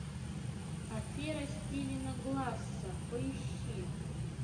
афера стивена гласса поищи